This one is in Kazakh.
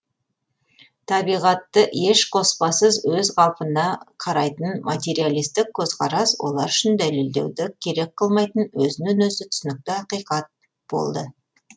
табиғатты еш қоспасыз өз қалпында қарайтын материалисттік көзқарас олар үшін дәлелдеуді керек қылмайтын өзінен өзі түсінікті ақиқат болды